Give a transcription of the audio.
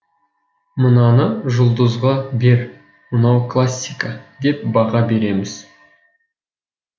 мынаны жұлдызға бер мынау классика деп баға береміз